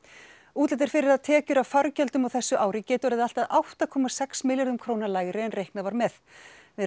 útlit er fyrir að tekjur af fargjöldum á þessu ári geti orðið allt að átta komma sex milljörðum króna lægri en reiknað var með við